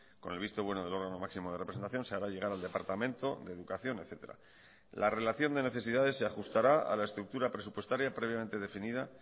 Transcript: con el visto bueno del órgano máximo de representación se haga llegar al departamento de educación etcétera la relación de necesidades se ajustará a la estructura presupuestaria previamente definida